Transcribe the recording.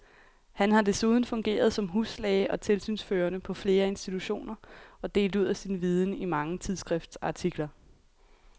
Han har desuden fungeret som huslæge og tilsynsførende på flere institutioner og delt ud af sin viden i mange tidsskriftsartikler.